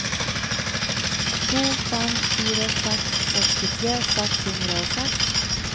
to fem fire seks sekstitre seks hundre og seks